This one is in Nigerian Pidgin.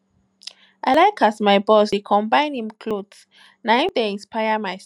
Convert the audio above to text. i like as my boss dey combine im clothes na him dey inspire my style